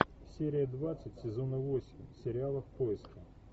серия двадцать сезона восемь сериала в поиске